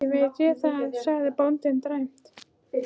Ekki veit ég það, sagði bóndinn dræmt.